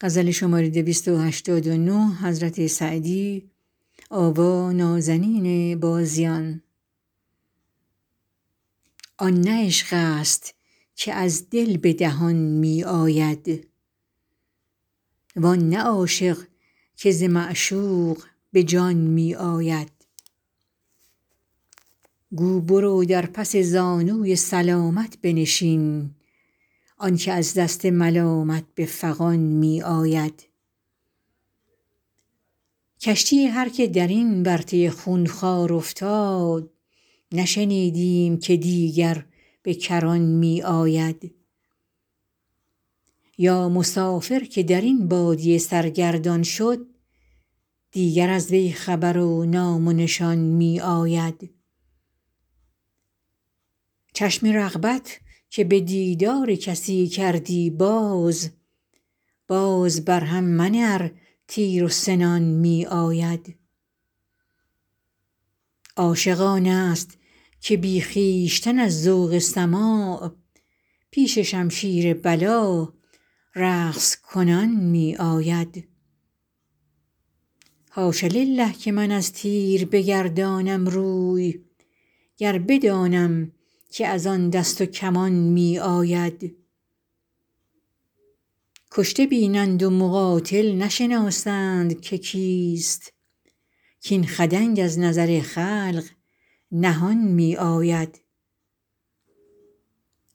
آن نه عشق است که از دل به دهان می آید وان نه عاشق که ز معشوق به جان می آید گو برو در پس زانوی سلامت بنشین آن که از دست ملامت به فغان می آید کشتی هر که در این ورطه خونخوار افتاد نشنیدیم که دیگر به کران می آید یا مسافر که در این بادیه سرگردان شد دیگر از وی خبر و نام و نشان می آید چشم رغبت که به دیدار کسی کردی باز باز بر هم منه ار تیر و سنان می آید عاشق آن است که بی خویشتن از ذوق سماع پیش شمشیر بلا رقص کنان می آید حاش لله که من از تیر بگردانم روی گر بدانم که از آن دست و کمان می آید کشته بینند و مقاتل نشناسند که کیست کاین خدنگ از نظر خلق نهان می آید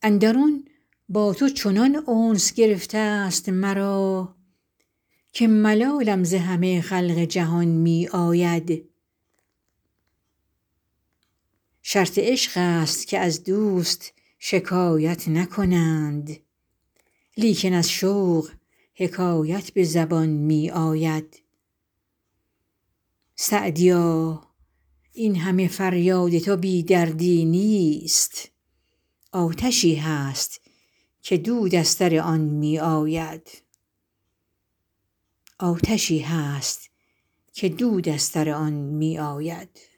اندرون با تو چنان انس گرفته ست مرا که ملالم ز همه خلق جهان می آید شرط عشق است که از دوست شکایت نکنند لیکن از شوق حکایت به زبان می آید سعدیا این همه فریاد تو بی دردی نیست آتشی هست که دود از سر آن می آید